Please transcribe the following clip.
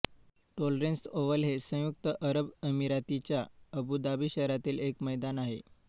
tolerance Oval हे संयुक्त अरब अमिरातीच्या अबुधाबी शहरातील एक मैदान आहे